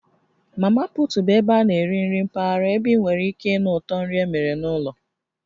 Mamaput bụ ebe a na-eri nri mpaghara ebe ị nwere ike ịnụ ụtọ nri emere n'ụlọ